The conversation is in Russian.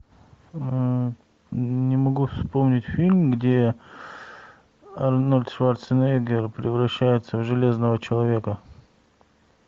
не могу вспомнить фильм где арнольд шварценеггер превращается в железного человека